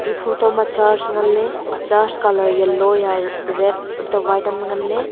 photo ma church ngan ley church colour yellow hiya red antoh white yam le ngan ley.